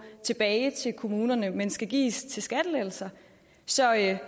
tilbage til kommunerne men skal gives til skattelettelser så jeg